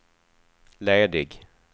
ledig